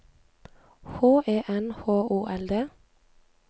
H E N H O L D